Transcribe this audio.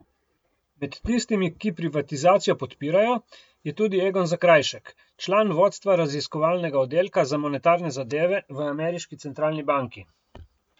Med tistimi, ki privatizacijo podpirajo, je tudi Egon Zakrajšek, član vodstva raziskovalnega oddelka za monetarne zadeve v ameriški centralni banki.